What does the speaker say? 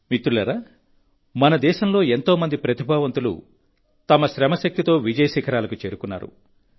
మిత్రులారా మన దేశంలో ఎంతో మంది ప్రతిభావంతులు తమ శ్రమ శక్తితో విజయ శిఖరాలకు చేరుకున్నారు